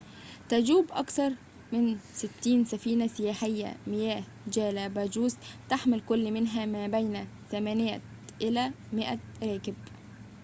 تجوب أكثر من 60 سفينة سياحية مياه جالاباجوس تحمل كل منها ما بين 8 إلى 100 راكب